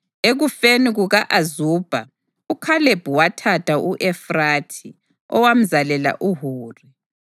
Ekufeni kuka-Azubha, uKhalebi wathatha u-Efrathi, owamzalela uHuri.